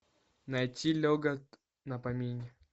найти легок на помине